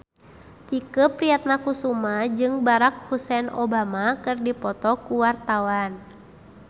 Tike Priatnakusuma jeung Barack Hussein Obama keur dipoto ku wartawan